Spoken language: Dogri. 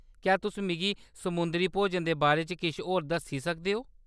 क्या तुस मिगी समुंदरी भोजन दे बारे च किश होर दस्सी सकदे ओ?